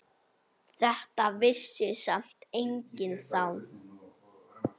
Þetta vissi samt enginn þá.